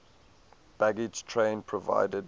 baggage train provided